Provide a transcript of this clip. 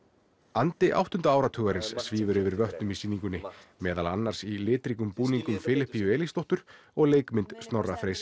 andi áttunda áratugarins svífur yfir vötnum í sýningunni meðal annars í litríkum búningum Filippíu Elísdóttur og leikmynd Snorra Freys